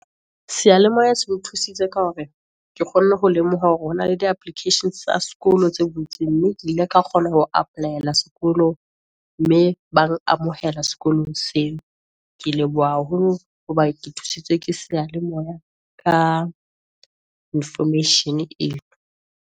Seyalemoya se nthusitse ka hore, ke kgonne ho lemoha hore hona le di applications tsa sekolo tse butseng, mme ke ile ka kgona ho apply-ela sekolo, mme ba nkamohela sekolong seo. Ke leboha haholo hoba ke thusitswe ke seyalemoya, ka Information e no.